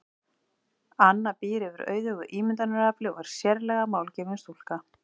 Anna býr yfir auðugu ímyndunarafli og er sérlega málgefin stúlka.